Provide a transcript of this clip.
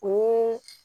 O